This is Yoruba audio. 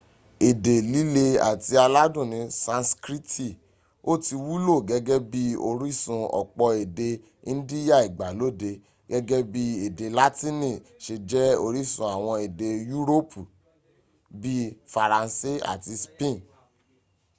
ede lile ati aladun ni sanskriti o ti wulo gege bi orisun opo ede indiya igbalode gege bii ede latini se je orisun awon ede yuropi bii faranse ati speen